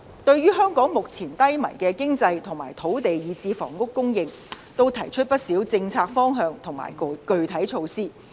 對於香港目前低迷的經濟和土地以至房屋的供應，也都提出了不少政策方向和具體措施。